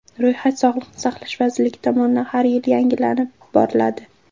Ro‘yxat Sog‘liqni saqlash vazirligi tomonidan har yili yangilab boriladi.